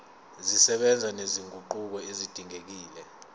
zisebenza nezinguquko ezidingekile